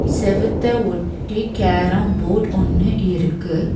செவுத்த ஒட்டி carrom board ஒன்னு இருக்கு.